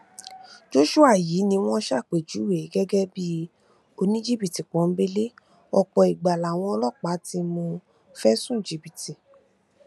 joshua yìí ni wọn ṣàpèjúwe gẹgẹ bíi oníjìbìtì pọńbélé ọpọ ìgbà làwọn ọlọpàá ti mú un fẹsùn jìbìtì